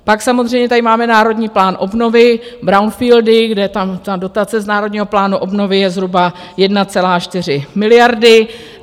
Pak samozřejmě tady máme Národní plán obnovy, brownfieldy, kde dotace z Národního plánu obnovy je zhruba 1,4 miliardy.